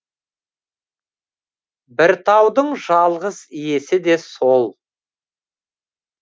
бір таудың жалғыз иесі де сол